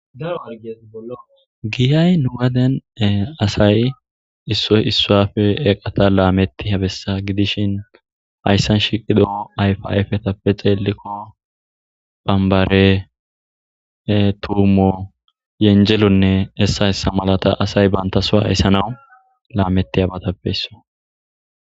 Daro hargeeti bollo giyay nugaden asay issoy issafe eqata laametti habessa gidishin hayssan shiqido ayfa ayfetappe xeelikko bambare tuumo yenjelonne hessa hessa malata asay bantasoa hayssanawu laametti habatappeysso.